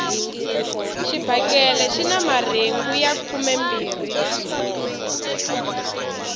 xibakele xina marhengu ya khumembirhi